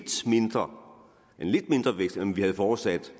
mindre end vi havde forudsat